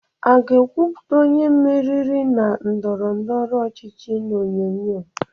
A ga-ekwupụta onye meriri na ndọrọ ndọrọ ọchịchị n'onyonyo?